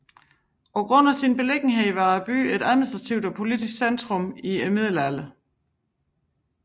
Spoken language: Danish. På grund af sin beliggenhed var byen et administrativt og politisk centrum i Middelalderen